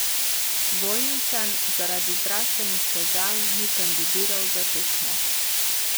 Vojničan zaradi zdravstvenih težav ni kandidiral za tekmo.